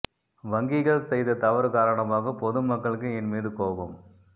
வங்கிகள் செய்த தவறு காரணமாக பொது மக்களுக்கு என் மீது கோபம்